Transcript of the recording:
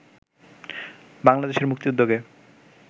বাংলাদেশের মুক্তিযুদ্ধকে